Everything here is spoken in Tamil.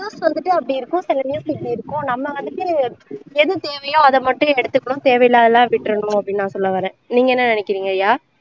news வந்துட்டு அப்படி இருக்கும் சில news வந்துட்டு இப்படி இருக்கும் நம்ம வந்துட்டு எது தேவையோ அதை மட்டும் எடுத்துக்கணும் தேவையில்லாததை எல்லாம் விட்டுறணும் அப்படின்னு நான் சொல்ல வர்றேன் நீங்க என்ன நினைக்கிறீங்க ரியா